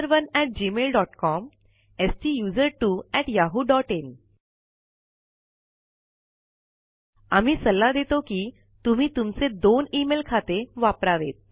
STUSERONEgmailcom STUSERTWOyahooin आम्ही सल्ला देतो कितुम्ही तुमचे 2 इमेल खाते वापरावेत